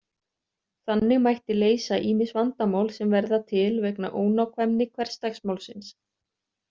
Þannig mætti leysa ýmis vandamál sem verða til vegna ónákvæmni hversdagsmálsins.